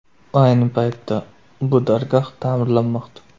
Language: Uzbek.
Ayni paytda bu dargoh ta’mirlanmoqda.